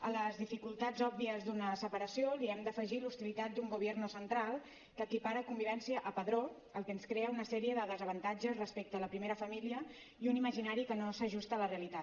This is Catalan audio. a les dificultats òbvies d’una separació li hem d’afegir l’hostilitat d’un gobierno central que equipara convivència a padró el que ens crea una sèrie de desavantatges respecte a la primera família i un imaginari que no s’ajusta a la realitat